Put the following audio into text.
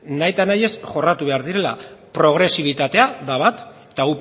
nahita nahi ez jorratu behar direla progresibitatea da bat eta